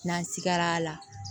N'an sigara a la